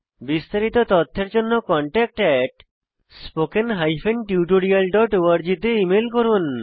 বিস্তারিত তথ্যের জন্য contactspoken tutorialorg তে ইমেল করুন